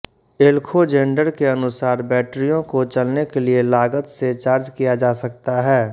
एलखोजेंडर के अनुसार बैटरियों को चलने के लिए लागत से चार्ज किया जा सकता है